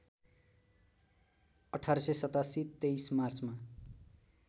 १८८७ २३ मार्चमा